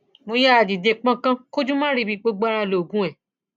mo yáa dìde pọnkan kójú má ríbi gbogbo ara lóògùn ẹ